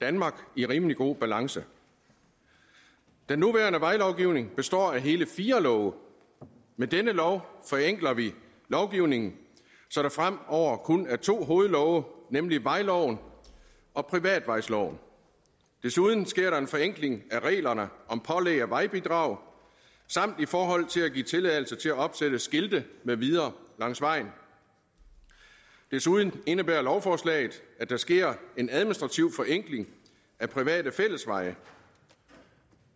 danmark i rimelig god balance den nuværende vejlovgivning består af hele fire love med denne lov forenkler vi lovgivningen så der fremover kun er to hovedlove nemlig vejloven og privatvejsloven desuden sker der en forenkling af reglerne om pålæg af vejbidrag samt i forhold til at give tilladelse til at opsætte skilte med videre langs vejen desuden indebærer lovforslaget at der sker en administrativ forenkling af private fællesveje